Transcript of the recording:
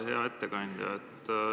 Hea ettekandja!